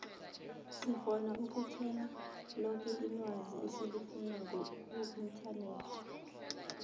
sikgona ukuthola loke ilwazi esilifunako kuinternet